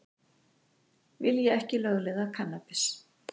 Vilja ekki lögleiða kannabis